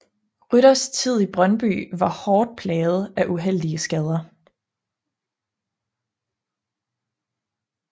Rytters tid i Brøndby var hårdt plaget af uheldige skader